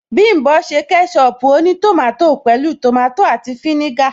Bím̀bọ́ ṣe kẹ́ṣọpù ó ní tòmátò pẹ̀lú tòmátò àti fínígà